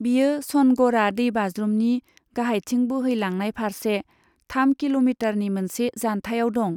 बेयो सनगढ़ा दैबाज्रुमनि गाहायथिं बोहैलांनाय फारसे थाम किल'मिटारनि मोनसे जान्थायाव दं।